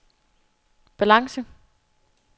balance